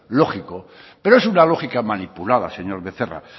lógico pero es una lógica manipulada señor becerra